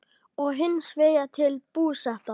og hins vegar til Búseta.